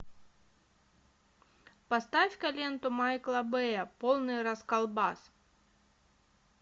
поставь ка ленту майкла бэя полный расколбас